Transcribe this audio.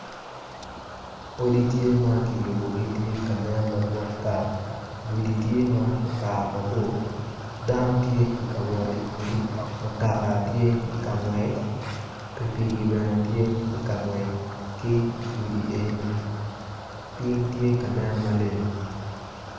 Odi tye ma kiyubogi ma tye ka nen madwong ata gudi tye ma okato mabor dano tye ka wot i gudi mutoka tye ka ngwec pikipiki tye ka ngwec.